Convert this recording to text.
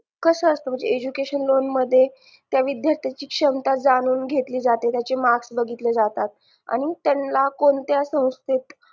कस असत म्हणजे education loan मध्ये त्या विद्यार्थांची सक्षमता जाणून घेतली जाते marks बघितले जातात आणि त्यांना कोणत्या संस्थेत